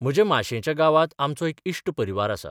म्हज्या माशेंच्या गावांत आमचो एक इश्ट परिवार आसा.